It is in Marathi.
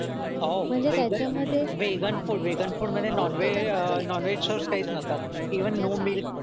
ओह वेगन फूड वेगन फूड मध्ये नॉनव्हेज नॉनव्हेज सोर्स काहीच नसतात इव्हन नो मिल्क